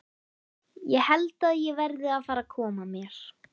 Ég held að ég verði að fara að koma mér.